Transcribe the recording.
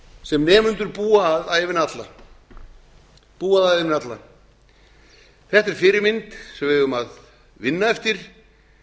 sem nemendur búa að ævina alla þetta er fyrirmynd sem við eigum að vinna eftir